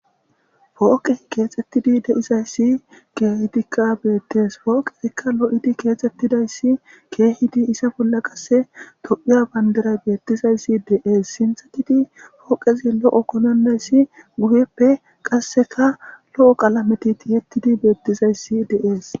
Pooqee keexeththidi de7izayssi keehidikka beeththees; pooqee lo7izi keexeththida7issi issi keehizi iza bolla kasse toophphiya banddiray beeththezayssi de7ees; sinththathidi pooqethi lo7o konannessi guyeppe qassika lo7o qalame thiyeththidi beeththizayssi de7ees.